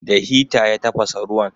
Da hita ya tafasa ruwan.